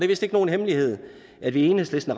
vist ikke nogen hemmelighed at vi i enhedslisten